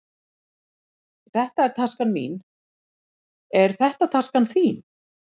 Þetta er taskan mín. Er þetta taskan þín?